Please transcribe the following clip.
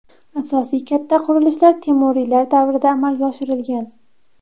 Asosiy katta qurilishlar temuriylar davrida amalga oshirilgan.